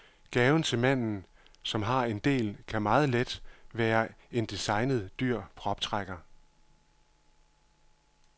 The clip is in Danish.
Gaven til manden, som har en del, kan meget let være en designet, dyr proptrækker.